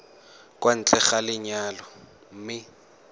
kwa ntle ga lenyalo mme